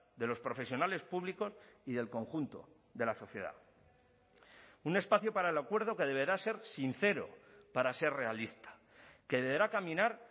de los profesionales públicos y del conjunto de la sociedad un espacio para el acuerdo que deberá ser sincero para ser realista que deberá caminar